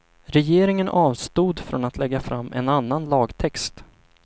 Regeringen avstod från att lägga fram en annan lagtext.